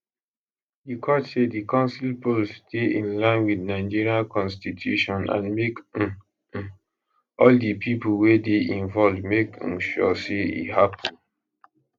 di court say di council polls dey in line wit nigeria constitution and make um um all di pipo wey dey involved make um sure say e happun